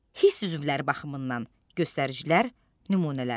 Hiss üzvləri baxımından göstəricilər nümunələr.